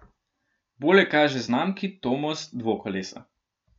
Bolje kaže znamki Tomos dvokolesa.